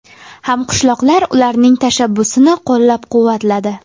Hamqishloqlar ularning tashabbusini qo‘llab-quvvatladi.